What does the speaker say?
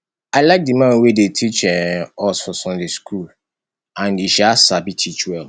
i like the man wey dey teach um us for sunday school and he um sabi teach well